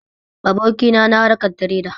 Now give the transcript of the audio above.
Abokina na harkan tireda